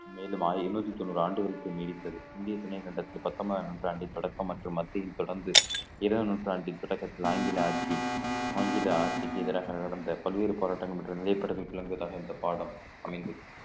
மேலும் ஆயி~ ஆயிரத்தி எண்ணூத்தி தொண்ணூறு ஆண்டுகளுக்கு நீடித்தது இந்திய துணை கண்டத்தில் பத்தொன்பதாம் நூற்றாண்டின் தொடக்கம் மற்றும் மத்தியில் தொடர்ந்து இருவது நூற்றாண்டின் தொடக்கத்தில் ஆங்கில ஆட்சி ஆங்கில ஆட்சிக்கு எதிராக நடந்த பல்வேறு போராட்டங்கள் என்று கிளம்பியதாக இந்த பாடம் அமைந்தது